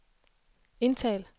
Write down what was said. indtal